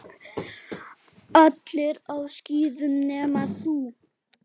Allir á skíðum nema þú.